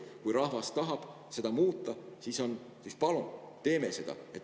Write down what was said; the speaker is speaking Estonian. Kui rahvas tahab seda muuta, siis palun teeme seda.